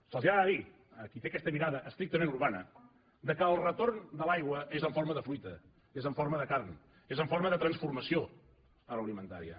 se’ls ha de dir a qui té aquesta mirada estrictament urbana que el retorn de l’aigua és en forma de fruita és en forma de carn és en forma de transformació agroalimentària